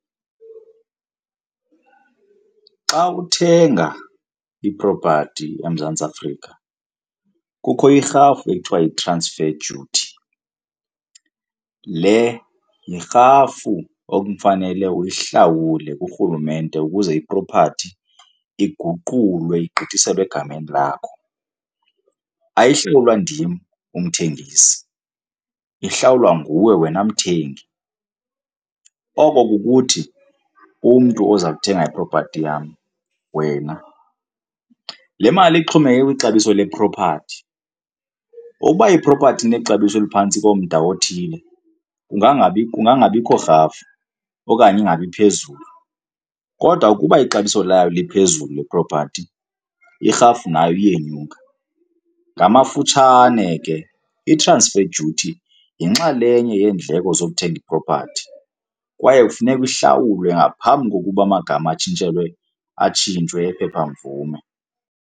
Xa uthenga ipropathi eMzantsi Afrika kukho irhafu ekuthiwa yi-transfer duty. Le yirhafu ekufanele uyihlawule kurhulumente ukuze ipropathi iguqulwe igqithiselwe egameni lakho. Ayihlawulwa ndim umthengisi, ihlawulwa nguwe wena mthengi, oko kukuthi umntu oza kuthenga iipropati yam, wena. Le mali ixhomekeke kwixabiso lepropathi, ukuba ipropathi inexabiso eliphantsi komda othile, kungangabi, kungabikho rhafu okanye ingabi phezulu kodwa ukuba ixabiso layo liphezulu lepropathi, irhafu nayo iyenyuka. Ngamafutshane ke, i-transfer duty yinxalenye yeendleko zokuthenga ipropathi kwaye kufuneka ihlawulwe ngaphambi kokuba amagama atshintshelwe, atshintshwe iimphepha mvume.